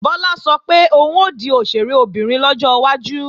Bọ́lá sọ pé òun ó di òṣèré obìnrin lọ́jọ́ iwájú